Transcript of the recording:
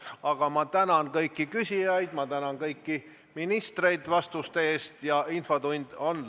Aga sellised arutelud, kus tegu on konverentsiga, on üldjuhul ametnike tasemel, kuna IT on väga spetsiifiline valdkond, mida inimene peab väga detailselt tundma.